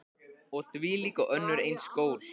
Og þvílík og önnur eins gól.